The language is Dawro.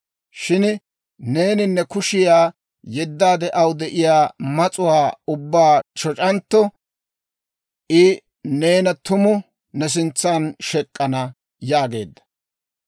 Shin neeni ne kushiyaa yeddaade, aw de'iyaa mas'uwaa ubbaa shoc'antto, I neena tumu ne sintsan shek'k'ana» yaageedda.